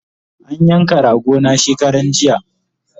An yanka rago na shekaranjiya